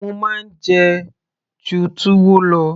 mo máa ń jẹ ẹ́ ju túwó lọ